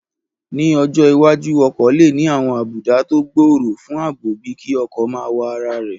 Ní ọjọ́ iwájú, ọkọ̀ lè ní àwọn àbùdá tó gbòòrò fún ààbò bíi kí ọkọ̀ máa wa ara rẹ̀